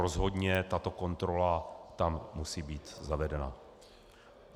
Rozhodně tato kontrola tam musí být zavedena.